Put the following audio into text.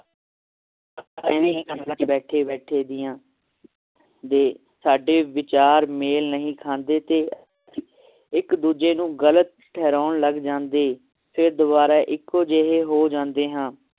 ਬੈਠੇ ਬੈਠੇ ਦੀਆਂ ਦੇ ਸਾਡੇ ਵਿਚਾਰ ਮੇਲ ਨਹੀ ਖਾਂਦੇ ਤੇ ਇੱਕ ਦੂਜੇ ਨੂੰ ਗਲਤ ਠਹਿਰਾਉਣ ਲੱਗ ਜਾਂਦੇ ਫੇਰ ਦੁਬਾਰਾ ਇੱਕੋ ਜਿਹੇ ਹੋ ਜਾਂਦੇ ਹਾਂ